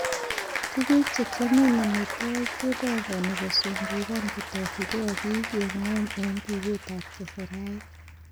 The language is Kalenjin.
Tuguk chekiomen amitwogik kepong'oni kosungungan kotokyinge bii en ngwony en biutab keserait.